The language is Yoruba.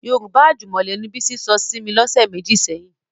Yorùbá àjùmọ̀lò ni Bísí sọ sí mi lọ́sẹ̀ méjì sẹ́yìn